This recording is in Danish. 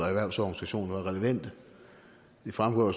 erhvervsorganisationer relevante det fremgår